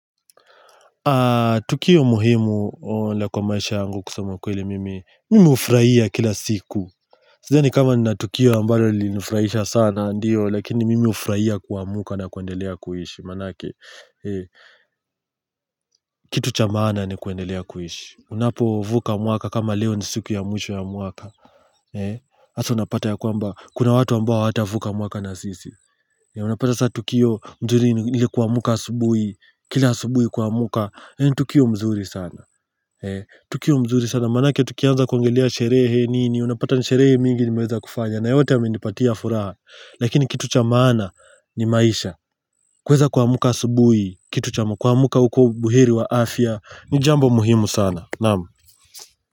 Tukio muhimu ola kwa maisha yangu kusema ukweli mimi Mimi ufurahia kila siku Sidhani kama ninaa Tukio ambayo linufraisha sana ndiyo Lakini mimi ufraia kuamka na kuendelea kuhishi Manake kitu cha maana ni kuendelea kuhishi Unapovuka mwaka kama leo ni siku ya mwisho ya mwaka Asa unapata ya kwamba kuna watu ambao hawatavuka mwaka na sisi Unapata saa Tukio mzuri ilikuwa kuamka asubui Kila asubui kuamuka ni tukio mzuri sana Tukio mzuri sana Manake tukianza kuongelea sherehe nini Unapata nsherehe mingi nimeweza kufanya na yote yamenipatia furaha Lakini kitu chamana ni maisha kweza kuamuka asubui Kitu chamo kwa muka uko buhiri wa afya Nijambo muhimu sana Naamu.